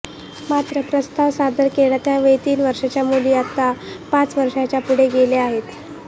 मात्र प्रस्ताव सादर केला त्यावेळी तीन वर्षांच्या मुली आता पाच वर्षांच्या पुढे गेल्या आहेत